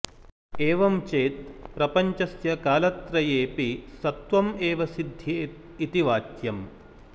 एवं चेत् प्रपञ्चस्य कालत्रयेपि सत्वं एव सिद्ध्येत् इति वाच्यम्